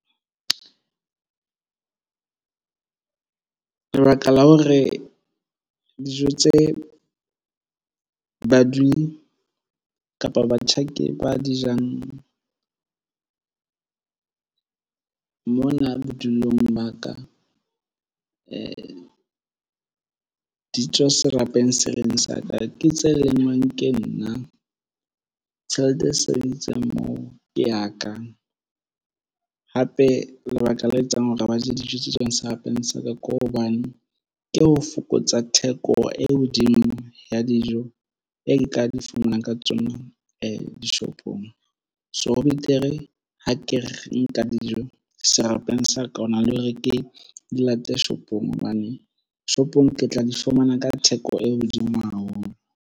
Lebaka la hore dijo tse badudi kapa batjhaki ba di jang mona bodulong ba ka di tswa serapeng sena sa ka ke tse lengwang ke nna. Tjhelete e sebedisitswe moo ke ya ka hape lebaka le etsang hore ba je dijo tse tswang serapeng sa ka ke hobane ke ho fokotsa theko e hodimo ya dijo e ka di fumanang ka tsona dishopong shopong. So, ho betere ha ke re nka dijo serapeng sa ka hona le hore ke di late shopong hobane shopong ke tla di fumana ka theko e hodimo haholo.